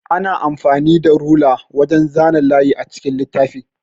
Ana amfanin da rula wajan zana layi a cikin littafi.